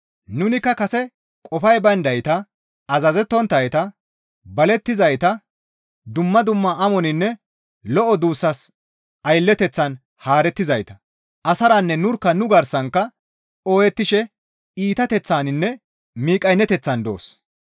Nunikka kase qofay bayndayta, azazettonttayta, balettizayta, dumma dumma amoninne lo7o duussas aylleteththan haarettizayta; asaranne nurkka nu garsankka ooyettishe iitateththaninne miqqayneteththan doos.